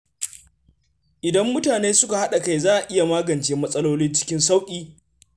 Idan mutane suka haɗa kai, za a iya magance matsaloli cikin sauƙi.